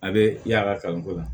A bɛ y'a ka kalanko la